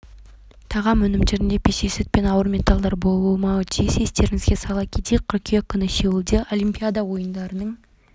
тағам өнімдерінде пестицид пен ауыр металлдар болмауы тиіс естеріңізге сала кетейік қыркүйек күні сеулде олимпиада ойындарының